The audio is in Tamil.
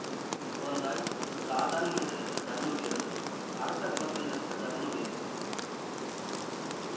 குழந்தாய் சாதாரண மனிதர்களுக்குத் தர்மம் வேறு அரச குலத்தினருக்குத் தர்மம் வேறு